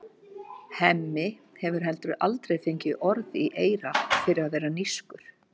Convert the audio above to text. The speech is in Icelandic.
Hemmi hefur heldur aldrei fengið orð í eyra fyrir að vera nískur.